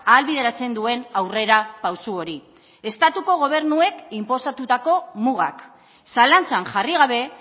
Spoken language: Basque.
ahalbideratzen duen aurrera pauso hori estatuko gobernuek inposatutako mugak zalantzan jarri gabe